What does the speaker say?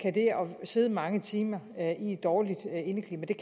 sidde mange timer i et dårligt indeklima